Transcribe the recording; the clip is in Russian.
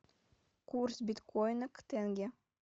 курс биткоина к тенге